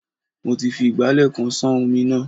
Mo ti fi ìgbálẹ̀ kan ṣán omi náà.